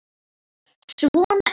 Svona er.